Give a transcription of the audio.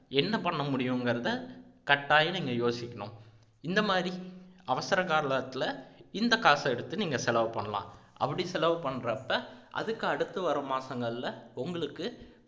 என்ன பண்ணமுடியுங்கிறத கட்டாயம் நீங்க யோசிக்கணும் இந்த மாதிரி அவசர காலத்துல இந்த காசை எடுத்து நீங்க செலவு பண்ணலாம் அப்படி செலவு பண்றப்ப அதுக்கு அடுத்து வர்ற மாசங்கள்ல உங்களுக்கு